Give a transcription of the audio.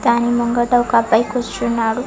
దాని ముంగట ఒక అబ్బాయి కూర్చున్నాడు.